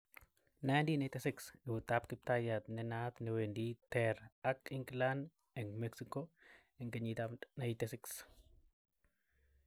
1986 " Eut ab Kiptayat" nenaat newendi ter ak England eng Mexico 86.